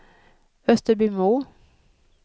Österbymo